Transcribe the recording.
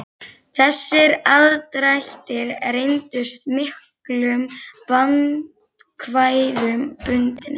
Þessir aðdrættir reyndust miklum vandkvæðum bundnir.